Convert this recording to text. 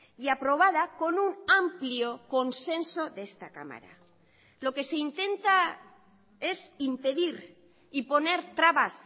y aprobada con un amplio consenso de esta cámara lo que se intenta es impedir y poner trabas